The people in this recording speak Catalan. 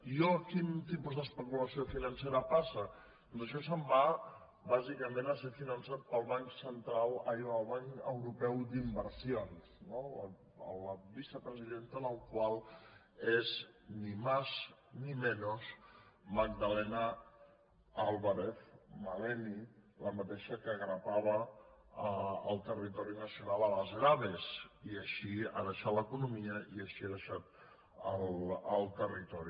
i a quin tipus d’especulació financera passa doncs això se’n va bàsicament a ser finançat pel banc europeu d’inversions la vicepresidenta del qual és ni más ni menos magdalena álvarez maleni la mateixa que grapava el territori nacional a base d’ave i així ha deixat l’economia i així ha deixat el territori